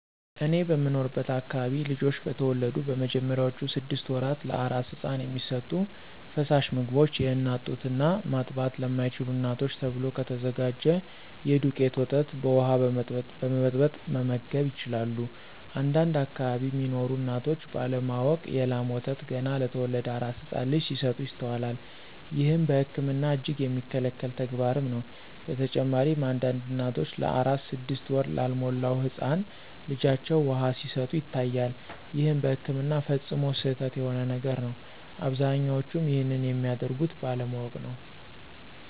እኔ በምኖርበት አከባቢ ልጆች በተወለዱ በመጀመሪያዎቹ ስድሰት ወራት ለአራስ ህፃን የሚሰጡ ፈሳሽ ምግቦች የአናት ጡት እና ማጥባት ለማይችሉ እናቶች ተብሎ ከተዘጋጀ የዱቄት ወተት በውሃ በመበጥበጥ መመገብ ይችላሉ። አንዳንድ አከባቢ ሚኖሩ እናቶች ባለ ማወቅ የ ላም ወተት ገና ለተወለደ አራስ ህፃን ልጅ ሲሰጡ ይስተዋላል። ይህም በህክምና እጅግ የሚከለከል ተግባርም ነው። በተጨማሪም አንዳንድ እናቶች ለአራስ ስድስት ወር ላልሞላው ህፃን ልጃቸው ውሃ ሲሰጡ ይታያል ይህም በህክምና ፈፅሞ ስህተት የሆነ ነገር ነው። አብዛኞቹም ይንንም የሚያደርጉት ባለማወቅ ነው።